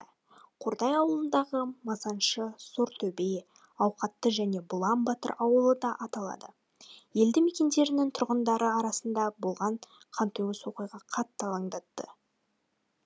қордай ауданындағы масаншы сортөбе ауқатты және бұлан батыр ауылы да аталады елді мекендерінің тұрғындары арасында болған қантөгіс оқиға қатты алаңдатты